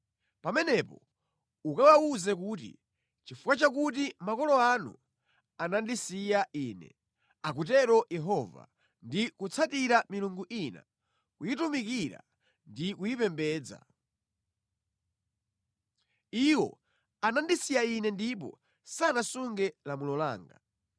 Pamenepo ukawawuze kuti, ‘Nʼchifukwa chakuti makolo anu anandisiya Ine,’ akutero Yehova, ‘ndi kutsatira milungu ina, kuyitumikira ndi kuyipembedza. Iwo anandisiya Ine ndipo sanasunge lamulo langa.